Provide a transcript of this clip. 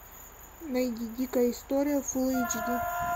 найди дикая история фулл эйч ди